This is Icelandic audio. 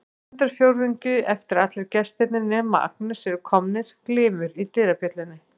Stundarfjórðungi eftir að allir gestirnir nema Agnes eru komnir glymur í dyrabjöllunni.